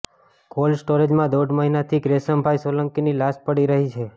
cold સ્ટોરેજમાં દોઢ મહિનાથી ગ્રેસમભાઈ સોલંકીની લાશ પડી રહી છે